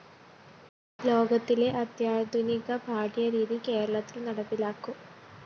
ലോകത്തിലെ അത്യാധുനീക പാഠ്യരീതി കേരളത്തില്‍ നടപ്പിലാക്കും